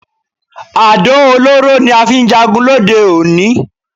Àdó olóró ni a fi ń jagun lóde òní